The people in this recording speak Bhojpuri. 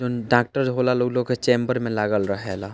जोन डॉक्टर होला लोग उ लोग के चैम्बर में लागल रहे ला ।